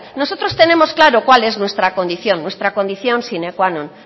nosotros tenemos claro cuál es nuestra condición nuestra condición sine qua non